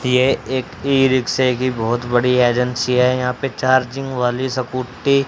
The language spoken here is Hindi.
ये एक ई_रिक्शा की बहोत बड़ी एजेंसी है यहां पर चार्जिंग वाली स्कूटी --